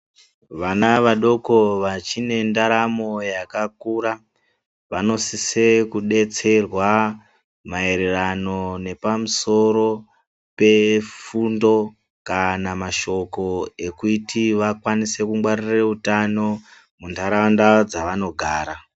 Vana vadoko vachine ntaramo yakakura vanosise kudetserwa maererano nepamusoro pefundo kana mashoko ekuti vakwanise kungwarire utano muntaraunda dzavanogara.